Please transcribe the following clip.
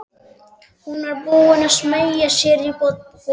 Hún var búin að smeygja sér í bolinn.